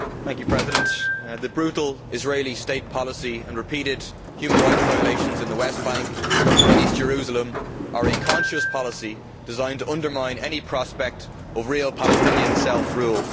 Mr President, the brutal Israeli state policy and repeated human rights violations in the West Bank and in East Jerusalem are a conscious policy deisgned to undermine any prospect of real Palestinian self rule.